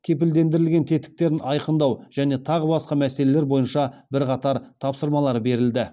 кепілдендірілген тетіктерін айқындау және тағы басқа мәселелер бойынша бірқатар тапсырмалар берілді